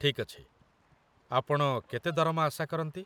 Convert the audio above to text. ଠିକ୍ ଅଛି, ଆପଣ କେତେ ଦରମା ଆଶା କରନ୍ତି?